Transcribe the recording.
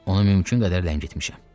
Onu mümkün qədər ləngitmişəm.